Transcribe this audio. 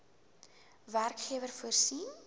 werkgewer voorsien